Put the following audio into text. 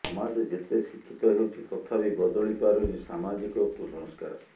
ସମାଜ ଯେତେ ଶିକ୍ଷୀତ ହେଉଛି ତଥାପି ବଦଳି ପାରୁନି ସାମାଜିକ କୁସସ୍କାର